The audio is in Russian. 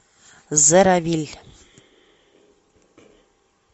зеровилль